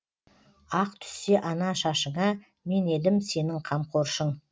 ақ түссе ана шашыңа мен едім сенің қамқоршың